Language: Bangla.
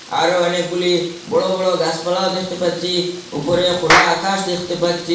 আরও অনেকগুলি বড় বড় গাসপালাও দেখতে পাচ্চি উপরে খোলা আকাশ দেখতে পাচ্চি।